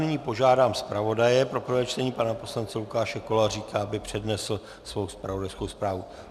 Nyní požádám zpravodaje pro prvé čtení, pana poslance Lukáše Koláříka, aby přednesl svou zpravodajskou zprávu.